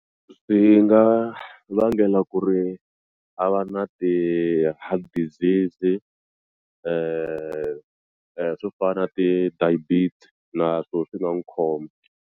Swi nga vangela ku ri a va na ti-heart disease swo fana na ti naswo swi nga n'wu khoma.